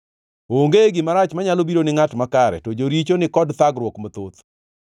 Onge gima rach manyalo biro ni ngʼat makare; to joricho ni kod thagruok mathoth.